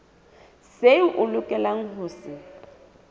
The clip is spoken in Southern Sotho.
seo a lokelang ho se